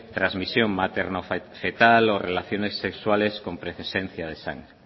transmisión materno fetal o relaciones sexuales con presencia de sangre